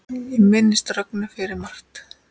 Ég minnist Rögnu fyrir margt.